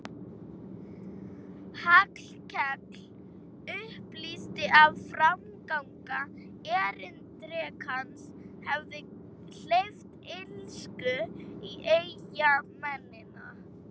Hallkell upplýsti að framganga erindrekans hefði hleypt illsku í eyjamennina.